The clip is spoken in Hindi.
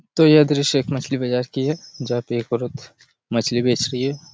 तो यह दृश्य एक मछली बाजार की है जहाँ पे एक औरत मछली बेच रही है।